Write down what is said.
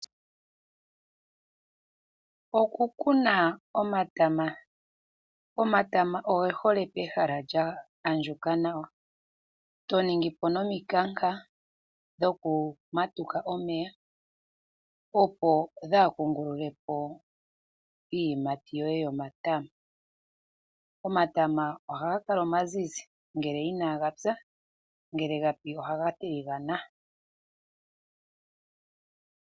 Okukuna omatama. Omatama oge hole pehala lya andjuka nawa ,to ningi po nomikanka dhokumatuka omeya, opo kaadhi kungulule po iiyimati yoye yomatama. Omatama haga kala omazizi ngele ina gapya ngele ga pi ohaga tiligana.